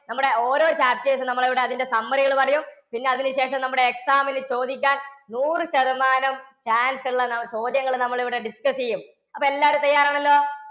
നമ്മുടെ ഓരോ chapters നമ്മൾ ഇവിടെ അതിന്റെ summary കള് പറയും. പിന്നെ അതിനു ശേഷം നമ്മുടെ exam നു ചോദിക്കാൻ നൂറുശതമാനം chance ഉള്ള ചോദ്യങ്ങള് നമ്മൾ ഇവിടെ discuss ചെയ്യും. അപ്പൊ എല്ലാവരും തയ്യാറാണല്ലോ?